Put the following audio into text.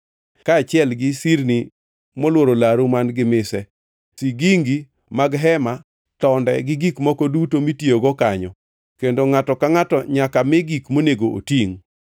kaachiel gi sirni molworo laru man-gi mise, sigingi mag hema, tonde, gi gik moko duto mitiyogo kanyo kendo ngʼato ka ngʼato nyaka mi gik monego otingʼ.